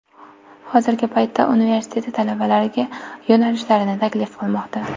Hozirgi paytda universiteti talabalarga: yo‘nalishlarini taklif qilmoqda.